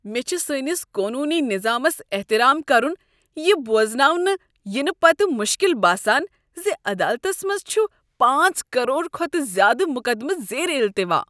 مےٚ چھُ سٲنِس قونوٗنی نظامس احترام کرُن یہِ بوزناونہٕ یِنہٕ پتہٕ مُشکل باسان زِ عدالتس منٛز چھ پانژھ کرور کھۄتہٕ زیٛادٕ مقدمہٕ زیر التوا۔